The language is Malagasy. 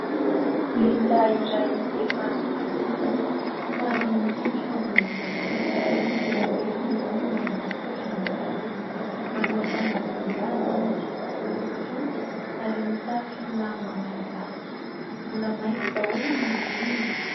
Lehilahy iray efa zokinjokiny, somary mikentrona ny tarehiny, lehibe ny orony ary misokatra ny vavany. Manao akanjo mihaja izy lobaka fotsy ary mitafy lamba malagasy, mbola mainty daholo ny volony.